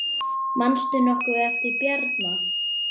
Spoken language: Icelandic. Manstu nokkuð eftir Bjarna?